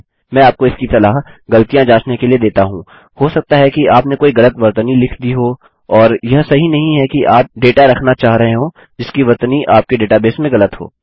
मैं आपको इसकी सलाह गलतियाँ जाँचने के लिए देता हूँI हो सकता है कि आपने कोई गलत वर्तनी लिख दी हो और यह सही नहीं है कि आप डेटा रखना चाह रहे हों जिसकी वर्तनी आपके डेटाबेस में गलत हो